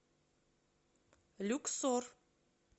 люксор